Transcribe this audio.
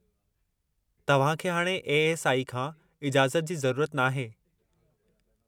तव्हांखे हाणे ए.एस.आई खां इजाज़त जी ज़रूरत नाहे।